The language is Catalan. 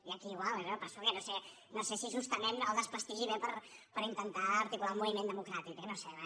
i aquí igual eh per això que no sé si justament el desprestigi ve per intentar articular un moviment democràtic eh no ho sé